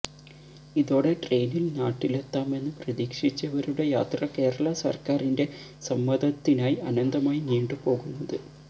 ഇതോടെ ട്രെയിനില് നാട്ടിലെത്താമെന്ന് പ്രതീക്ഷിച്ചവരുടെ യാത്ര കേരള സര്ക്കാരിന്റെ സമ്മതത്തിനായി അനന്തമായി നീണ്ടുപോകുന്നത്